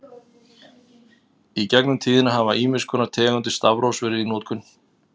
Í gegnum tíðina hafa ýmiss konar tegundir stafrófs verið í notkun.